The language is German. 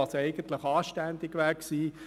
Das wäre eigentlich anständig gewesen.